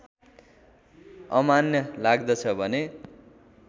अमान्य लाग्दछ भने